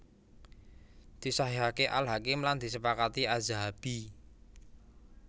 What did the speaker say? Disahihaké Al Hakim lan disepakati Adz Dzahabi